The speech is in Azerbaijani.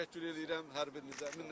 Təşəkkür eləyirəm hər birinizə, minnətdaram.